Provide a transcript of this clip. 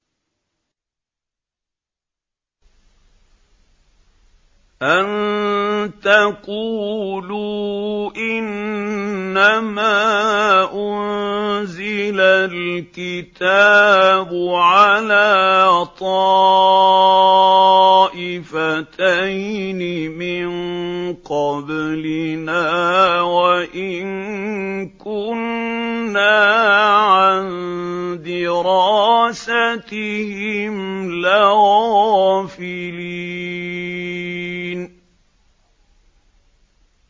أَن تَقُولُوا إِنَّمَا أُنزِلَ الْكِتَابُ عَلَىٰ طَائِفَتَيْنِ مِن قَبْلِنَا وَإِن كُنَّا عَن دِرَاسَتِهِمْ لَغَافِلِينَ